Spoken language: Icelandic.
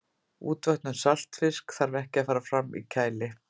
útvötnun saltfisks þarf að fara fram í kæli